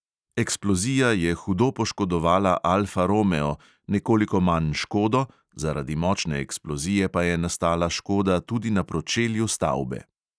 Eksplozija je hudo poškodovala alfa romeo, nekoliko manj škodo, zaradi močne eksplozije pa je nastala škoda tudi na pročelju stavbe.